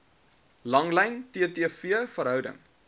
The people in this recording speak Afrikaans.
langlyn ttv verhouding